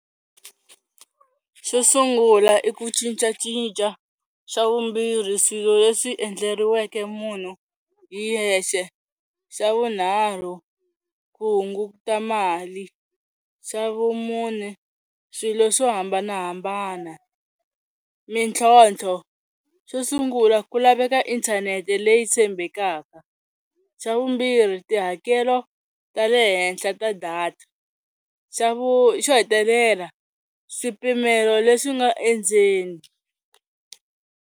Xo sungula i ku cincacinca xa vumbirhi swilo leswi endleriweke munhu hi yexe, xa vunharhu ku hunguta mali, xa vumune swilo swo hambanahambana. Mitlhotlho xo sungula ku laveka inthanete leyi tshembekaka, xa vumbirhi tihakelo ta le henhla ta data, xa vu xo hetelela swipimelo leswi nga endzeni.